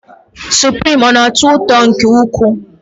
Suprim, ọ na-atọ ụtọ nke ukwuu?